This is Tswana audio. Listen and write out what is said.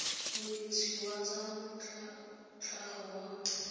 monetshi wa tsa tlhago wa